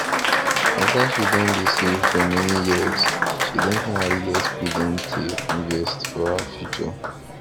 after she don dey save for many years she don finally get freedom tale invest for her future